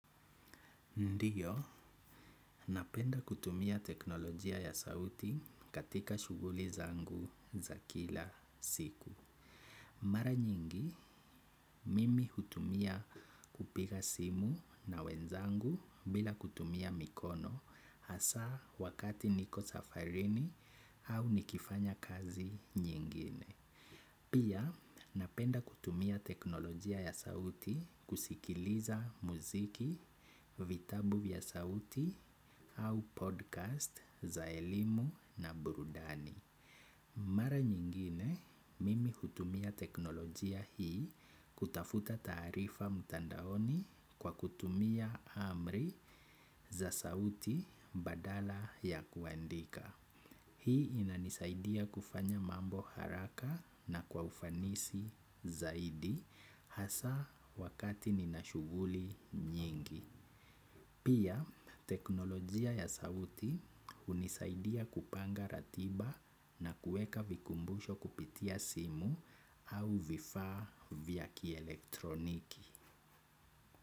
Ndiyo, napenda kutumia teknolojia ya sauti katika shughuli zangu za kila siku. Mara nyingi, mimi hutumia kupiga simu na wenzangu bila kutumia mikono hasa wakati niko safarini au nikifanya kazi nyingine. Pia napenda kutumia teknolojia ya sauti kusikiliza muziki, vitabu ya sauti au podcast za elimu na burudani. Mara nyingine mimi hutumia teknolojia hii kutafuta tarifa mtandaoni kwa kutumia amri za sauti badala ya kuandika. Hii inanisaidia kufanya mambo haraka na kwa ufanisi zaidi hasa wakati ninashughuli nyingi. Pia teknolojia ya sauti hunisaidia kupanga ratiba na kueka vikumbusho kupitia simu au vifaa vya kielektroniki.